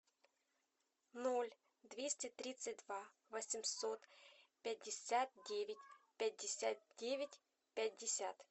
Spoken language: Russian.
ноль двести тридцать два восемьсот пятьдесят девять пятьдесят девять пятьдесят